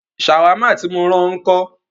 Ṣàwámà tí mó rán ọ ńkọ́?